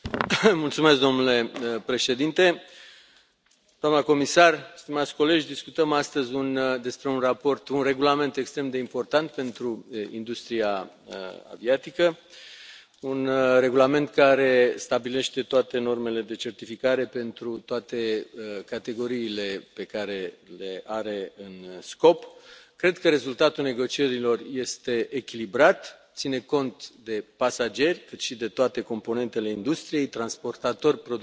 Domnule președinte, doamna comisar, stimați colegi, discutăm astăzi despre un regulament extrem de important pentru industria aviatică, un regulament care stabilește toate normele de certificare pentru toate categoriile pe care le are în domeniul de aplicare. Cred că rezultatul negocierilor este echilibrat, ține cont atât de pasageri, cât și de toate componentele industriei transportatori, producători,